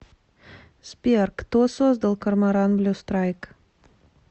сбер кто создал корморан блю страйк